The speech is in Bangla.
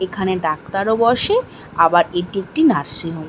এখানে ডাক্তারও বসে আবার এটি একটি নার্সিং হোম ।